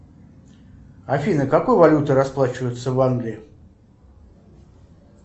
афина какой валютой расплачиваются в англии